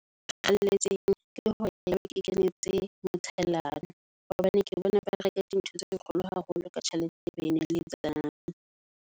ke hore nna ke kenetse motshellano. Hobane ke bona ba reka di ntho tse kgolo haholo ka tjhelete eo ba